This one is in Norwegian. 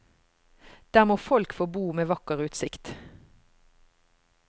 Der må folk få bo med vakker utsikt.